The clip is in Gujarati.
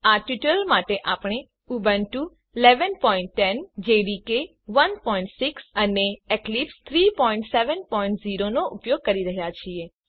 આ ટ્યુટોરીયલ માટે આપણે ઉબુન્ટુ વી 1110 જેડીકે 16 અને એક્લિપ્સ 370 નો ઉપયોગ કરી રહ્યા છીએ